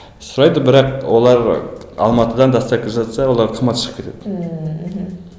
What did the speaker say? сұрайды бірақ олар алматыдан доставка жасаса олар қымбатқа шығып кетеді ммм мхм